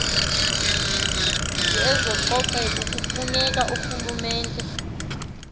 yezococeko kufuneka urhulumente